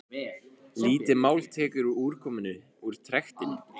lítið mál tekur við úrkomunni úr trektinni